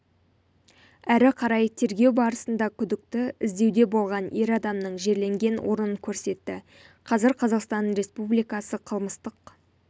әрі қарай тергеу барысында күдікті іздеуде болған ер адамның жерленген орнын көрсетті қазір қазақстан республикасы қылмыстық